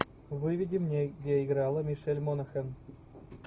выведи мне где играла мишель монахэн